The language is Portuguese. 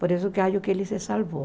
Por isso que acho que ele se salvou.